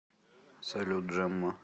салют джемма